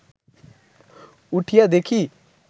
উঠিয়া দেখি